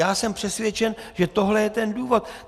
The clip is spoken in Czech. Já jsem přesvědčen, že tohle je ten důvod.